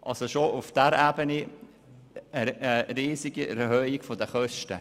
Bereits auf dieser Ebene kam es zu einer enormen Erhöhung der Kosten.